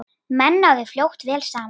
Menn náðu fljótt vel saman.